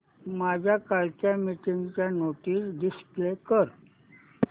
माझ्या कालच्या मीटिंगच्या नोट्स डिस्प्ले कर